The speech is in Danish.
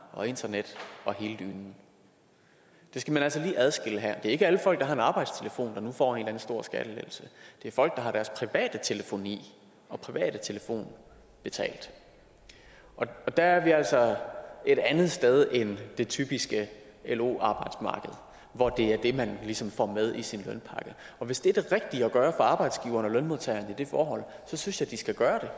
og internet og hele dynen det skal man altså lige adskille her det er ikke alle folk der har en arbejdstelefon der nu får en stor skattelettelse det er folk der har deres private telefoni og private telefon betalt der er vi altså et andet sted end det typiske lo arbejdsmarked hvor det er det man ligesom får med i sin lønpakke og hvis det er det rigtige at gøre for arbejdsgiveren og lønmodtageren i det forhold synes jeg de skal gøre